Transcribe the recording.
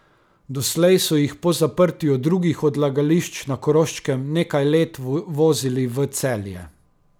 Doslej so jih po zaprtju drugih odlagališč na Koroškem nekaj let vozili v Celje.